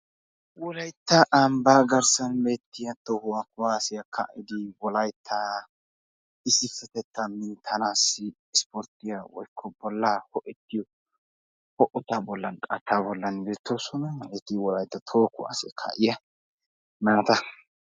Wolaytta ambbaa garssan beettiyaa toho kuwaasiyaa ka'idi wolaytta issipetettaa minttanaassi isporttiyaa woykko bollaa ho"ettiyoo ho"etaa bollan qattaa bollan beettoosona. hageeti wolaytta toho kuwaasiyaa kaa'iyaa naata.